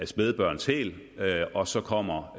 spædbørns hæl og så kommer